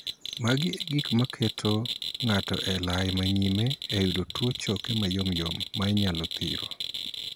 Magi e gik ma keto ng'ato e lai ma nyime e yudo tuo choke mayomyom ma inyalo thiro.